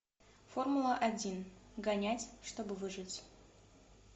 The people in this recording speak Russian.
формула один гонять чтобы выжить